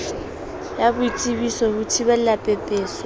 ya boitsebiso ho thibela pepeso